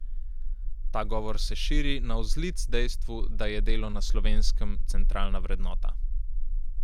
Ta govor se širi navzlic dejstvu, da je delo na Slovenskem centralna vrednota.